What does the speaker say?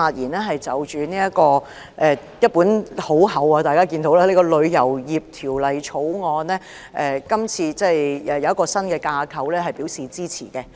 大家看到這是一本很厚的《條例草案》，對於設立一個新架構，我表示支持。